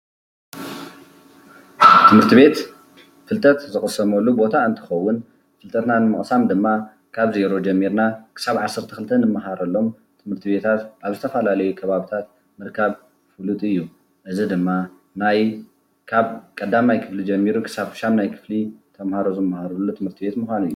ትምህርትቤት ፍልጠት ዝቅሰመሉ ቦታ እንትኸዉን ፍልጠትና ንምቅሳም ድማ ካብ ዜሮ ጀሚርና ክሳብ ዓሰርተ ክልተ እንምሃረሎም ትምህርትቤታት ኣብ ዝተፈላለዩ ከባብታት ምርካብ ፍሉጥ እዩ። እዚ ድማ ናይ ካብ ቀዳማይ ክፍሊ ጀሚሩ ክሳብ ሻምናይ ክፍሊ ተምሃሮ ዝምሃርሉ ትምህርትቤት ምኳኑ እዩ።